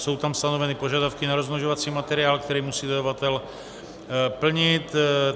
Jsou tam stanoveny požadavky na rozmnožovací materiál, které musí zadavatel plnit.